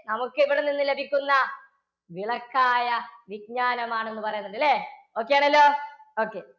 നമുക്ക് ഇവിടെ നിന്ന് ലഭിക്കുന്ന വിളക്കായ വിജ്ഞാനമാണ് എന്ന് പറയുന്നുണ്ട്. ഇല്ലേ? okay ആണല്ലോ okay.